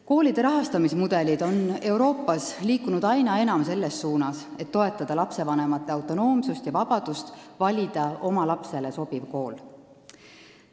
Koolide rahastamise mudelid on Euroopas liikunud aina enam selles suunas, et toetada lastevanemate autonoomsust ja vabadust valida oma lapsele sobiv kool.